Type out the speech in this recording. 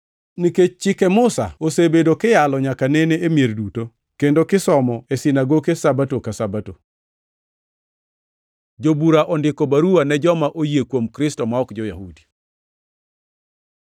Nikech chike Musa osebedo kiyalo nyaka nene e mier duto, kendo kisomo e sinagoke Sabato ka Sabato.” Jobura ondiko baruwa ne joma oyie kuom Kristo ma ok jo-Yahudi